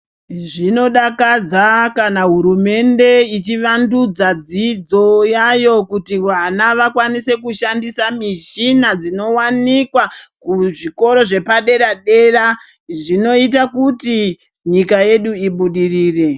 Zvinodakadza kana hurumende ichivandudzwa dzidzo yayo kuti vana vakwanise kushandisa muchina dzinowanikwa kuzvikora zvepadera dera zvinoita kuti nyika yedu ibudirire.